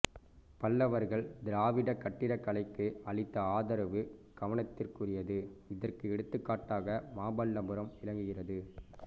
பல்லவர்கள் திராவிடக் கட்டடக்கலைக்கு அளித்த ஆதரவு கவத்திற்குரியது இதற்கு எடுத்துக்காட்டாக மாமல்லபுரம் விளங்குகிறது